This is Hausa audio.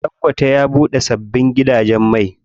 Ɗangote ya buɗe sabbin gidajen mai.